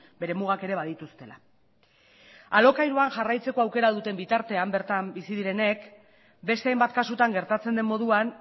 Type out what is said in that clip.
bere mugak ere badituztela alokairuan jarraitzeko aukera duten bitartean bertan bizi direnek beste hainbat kasutan gertatzen den moduan